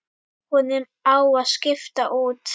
Honum á að skipta út.